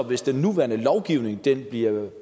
hvis den nuværende lovgivning bliver